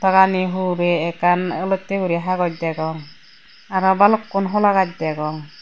pagani hurey ekkan olottey guri hagos degong aro balukkun hola gaaj degong.